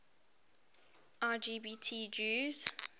lgbt jews